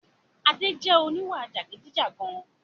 Adé jẹ oníwà jàgidijàgan